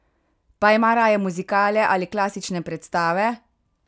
Pa ima raje muzikale ali klasične predstave?